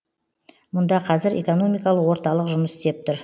мұнда қазір экономикалық орталық жұмыс істеп тұр